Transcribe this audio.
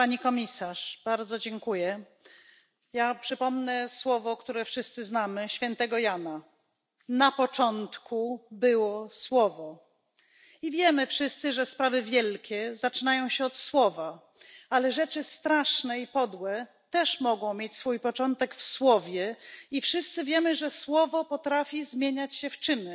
Pani Komisarz! Ja przypomnę słowo, które wszyscy znamy, słowo świętego Jana Na początku było słowo. I wiemy wszyscy, że sprawy wielkie zaczynają się od słowa, ale rzeczy straszne i podłe też mogą mieć swój początek w słowie, i wszyscy wiemy, że słowo potrafi zmieniać się w czyny.